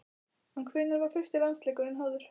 En hvenær var fyrsti landsleikurinn háður?